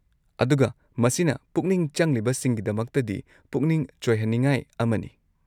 ꯑꯗꯨꯒ ꯃꯁꯤꯅ ꯄꯨꯛꯅꯤꯡ ꯆꯪꯂꯤꯕꯁꯤꯡꯒꯤꯗꯃꯛꯇꯗꯤ ꯄꯨꯛꯅꯤꯡ ꯆꯣꯏꯍꯟꯅꯤꯉꯥꯏ ꯑꯃꯅꯤ꯫